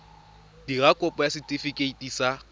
dira kopo ya setefikeiti sa